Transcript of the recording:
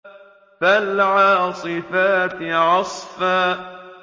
فَالْعَاصِفَاتِ عَصْفًا